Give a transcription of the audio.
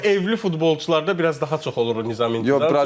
Ümumiyyətlə evli futbolçularda biraz daha çox olur nizam-intizam.